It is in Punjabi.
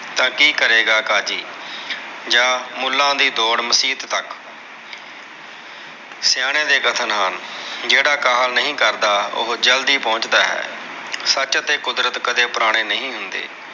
ਤਾਂ ਕੀ ਕਰੇਗਾ ਕਾਜੀ, ਜਾਂ ਮੁੱਲਾ ਦੀ ਦੌੜ ਮਸੀਤ ਤੱਕ। ਸਿਆਣਿਆ ਦੇ ਕਥਨ ਹਨ। ਜਿਹੜਾ ਕਾਹਲ ਨਹੀਂ ਕਰਦਾ, ਉਹੋ ਜਲਦੀ ਪਹੁੰਚ ਦਾ ਹੈ। ਸੱਚ ਅਤੇ ਕੁਦਰਤ ਕਦੇ ਪੁਰਾਣੇ ਨਹੀਂ ਹੁੰਦੇ।